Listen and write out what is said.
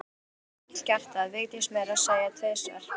Þau höfðu öll gert það, Vigdís meira að segja tvisvar.